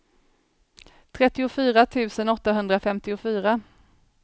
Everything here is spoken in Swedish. trettiofyra tusen åttahundrafemtiofyra